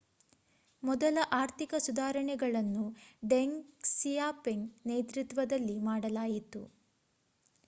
ಮೊದಲ ಆರ್ಥಿಕ ಸುಧಾರಣೆಗಳನ್ನು ಡೆಂಗ್ ಕ್ಸಿಯಾಪಿಂಗ್ ನೇತೃತ್ವದಲ್ಲಿ ಮಾಡಲಾಯಿತು